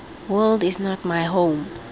world is not my home